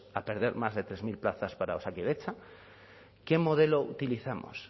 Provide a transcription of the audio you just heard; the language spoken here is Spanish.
a perder más de tres mil plazas para osakidetza qué modelo utilizamos